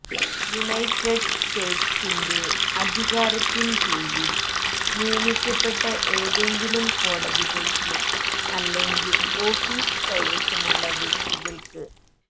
United സ്റ്റേറ്റ്സിന്റെ അധികാരത്തിൻകീഴിൽ നിയമിക്കപ്പെട്ട ഏതെങ്കിലും കോടതികൾക്ക് അല്ലെങ്കിൽ ഓഫീസ് കൈവശമുള്ള വ്യക്തികൾക്ക്